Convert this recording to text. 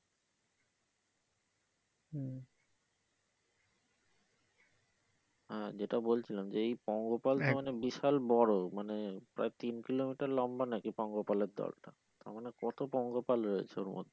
হ্যা যেটা বলছিলাম যেই পঙ্গপাল টা মানে বিশাল বড় মানে প্রায় তিন কিলোমিটার লম্বা নাকি পঙ্গপালের দল তারমানে কত পঙ্গপাল রয়েছে এর মধ্যে।